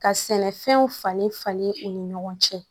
Ka sɛnɛfɛnw falen falen u ni ɲɔgɔn cɛ